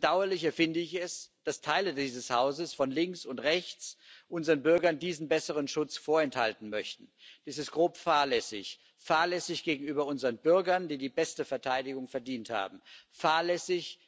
Umso bedauerlicher finde ich es, dass Teile dieses Hauses von links und rechts unseren Bürgern diesen besseren Schutz vorenthalten möchten. Das ist grob fahrlässig fahrlässig gegenüber unseren Bürgern, die die beste Verteidigung verdient haben, fahrlässig